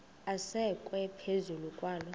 asekwe phezu kwaloo